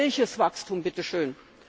Welches Wachstum bitteschön?